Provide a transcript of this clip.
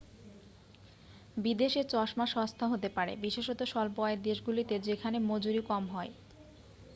বিদেশে চশমা সস্তা হতে পারে বিশেষত স্বল্প-আয়ের দেশগুলিতে যেখানে মজুরী কম হয়